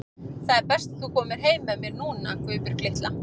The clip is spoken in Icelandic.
Það er best þú komir heim með mér núna, Guðbjörg litla.